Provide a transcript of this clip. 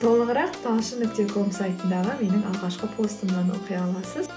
толығырақ талшын нүкте ком сайтындағы менің алғашқы постымнан оқи аласыз